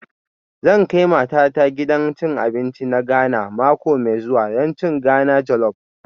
Zan kai matata gidan cin abinci na Ghana mako mai zuwa don cin Ghana jollop